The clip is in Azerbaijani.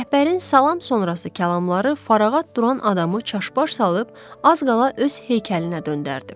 Rəhbərin salam sonrası kəlmələri fərağət duran adamı çaşbaş salıb az qala öz heykəlinə döndərdi.